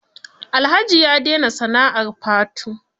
Alhaji ya dena sana'ar fatu.